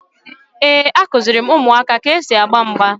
Ee, a kuziri m ụmụaka ka e si agba mgba